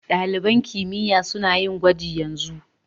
Dalibain kimiyya suna yin gwaji yanzu.